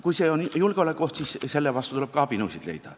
Kui see on julgeolekuoht, siis selle vastu tuleb ka abinõusid leida.